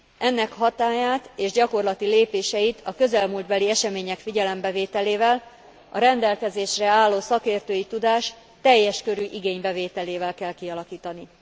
Ennek hatályát és gyakorlati lépéseit a közelmúltbeli események figyelembevételével a rendelkezésre álló szakértői tudás teljes körű igénybevételével kell kialakítani.